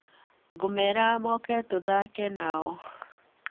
Ngũmera moke tũthake nao.